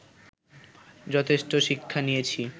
যথেষ্ট শিক্ষা নিয়েছি